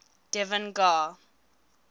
devan gar